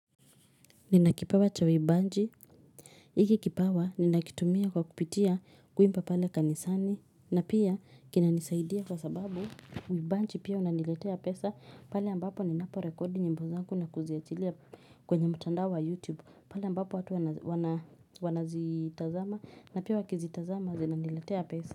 Nina kipawa cha uimbaji, hiki kipawa ninakitumia kwa kupitia kuimba pale kanisani na pia kinanisaidia kwa sababu uimbaji pia unaniletea pesa pale ambapo ninapo rekodi nyimbo zangu na kuziachilia kwenye mtandao wa youtube pale ambapo watu wanazitazama na pia wakizitazama zinaniletea pesa.